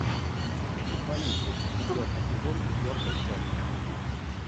футболисты четвертый сезон четвертая часть